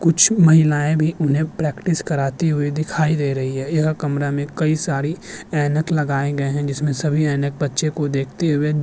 कुछ महिलायें भी उन्हें प्रेक्टिस कराती हुई दिखाई दे रही है यह कमरा में कई सारी ऐनक लगाए गए हैं जिसमें सभी ऐनक बच्चे को देखते हुए --